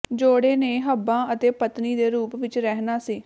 ਜੋੜੇ ਨੇ ਹੱਬਾਂ ਅਤੇ ਪਤਨੀ ਦੇ ਰੂਪ ਵਿਚ ਰਹਿਣਾ ਸੀ